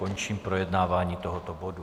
Končím projednávání tohoto bodu.